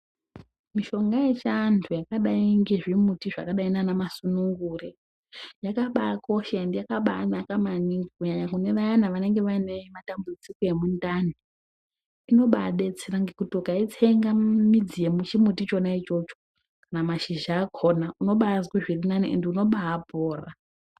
Mishonga yechiantu yakadai ngezvimuti zvakadai naanamasunungure, yakabaakosha endi yakabaanaka maningi, kunyanya vayana vanenge vaine matambudziko emundani. Inobaadetsera ngekuti, ukaitsenga midzi yochimuti chona ichocho, kana mashizha akhona ,unobaazwe zvirinani endi unobaapora.